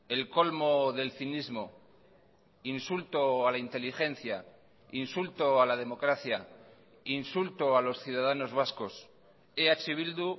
el colmo del cinismo insulto a la inteligencia insulto a la democracia insulto a los ciudadanos vascos eh bildu